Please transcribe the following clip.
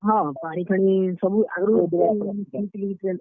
ହଁ, ପାଣିଫାଣି ସବୁ ଆଗ୍ ରୁ ।